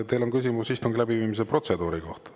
Teil on küsimus istungi läbiviimise protseduuri kohta.